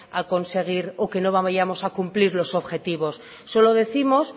a conseguir o que no vayamos a cumplir los objetivos solo décimos